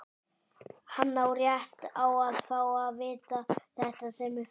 Hann á rétt á að fá að vita þetta sem fyrst.